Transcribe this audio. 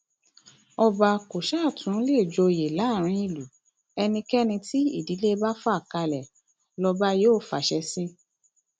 ọba kó ṣáà tún lè joyè láàrin ìlú ẹnikẹni tí ìdílé bá fà kalẹ lọba yóò fàṣẹ sí